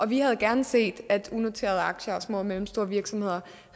vi havde gerne set at unoterede aktier og små og mellemstore virksomheder